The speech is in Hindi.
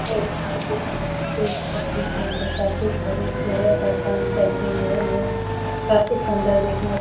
यह एक पत्ते के अंदर काफी सारे जेवर का काम चलते हैं और यह काफी सुंदर जेवर --